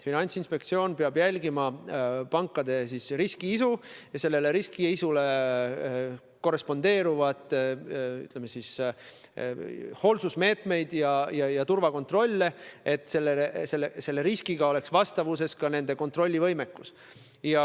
Finantsinspektsioon peab jälgima pankade riskiisu ning sellega korrespondeeruvaid hoolsusmeetmeid ja turvakontrolle, et nende kontrollivõimekus oleks riskiga vastavuses.